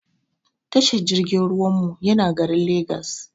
Tashar jirgin ruwan mu yana garin legas